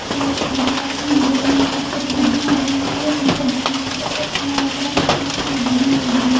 अउर में देखत हो कि गेट मन कर फोटो खिंच दिहर अर ये ए एक नंबर बिल्डिंग दिखत हे मैं एतना कहे चाहत हो कि बिल्डिंग में एक दिन जा --